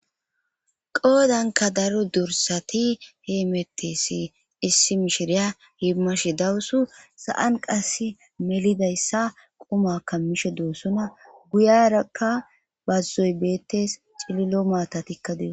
Qoodanka daro dursati heemettesi issi mishiriya himmash dawusu sa'an qass melidayssa quma kammishe doossona guyarakka bazzoy beettes cililo maata tikka deos.